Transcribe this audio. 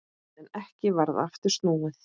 En ekki varð aftur snúið.